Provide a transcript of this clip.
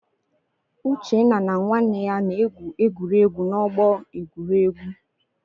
Uchenna na nwanne ya na-egwu egwuregwu n'ọgbọ egwuregwu.